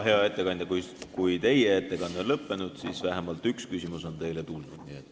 Hea ettekandja, kui teie ettekanne on lõppenud, siis vähemalt üks küsimus on teile küll.